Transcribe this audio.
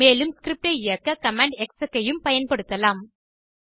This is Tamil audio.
மேலும் ஸ்கிரிப்ட் ஐ இயக்க கமாண்ட் எக்ஸெக் ஐயும் பயன்படுத்தும்